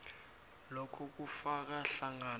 lokho kufaka hlangana